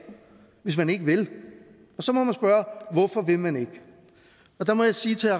hvis man ikke vil og så må man spørge hvorfor vil man ikke der må jeg sige til